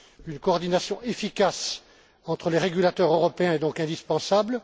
Une coordination efficace entre les régulateurs européens est donc indispensable.